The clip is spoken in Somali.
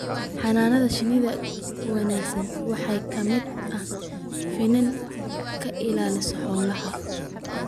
Xannaanada shinnida ee wanaagsan waxaa ka mid ah in finan ka ilaalisa xoolaha.